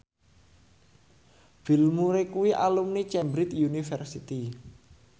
Bill Murray kuwi alumni Cambridge University